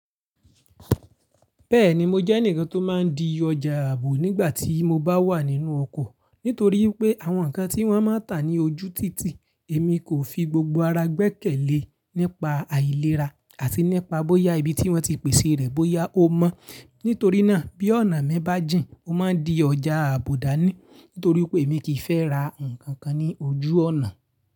Bẹ́ẹ̀ni mo jẹ́ ẹnìkan tó má n di ọjà ààbò nígbà tí mo bá wà nínú ọkọ̀. Nítorí pé àwọn nǹkan tí wọ́n máa ń tà ní ojú títì èmi kò fi gbogbo ara gbẹ́kẹ̀lé nípa àìlera àti nípa bóyá ibi tí wọ́n ti pèsè rẹ̀ bóyá ó mọ́. Nítorí náà bí ọ̀nà mẹ́bà jìn ó máa n di ọjà ààbò dání nítorí pé èmi kì í fẹ́ ra nǹkan kan ní ojú ọ̀nà.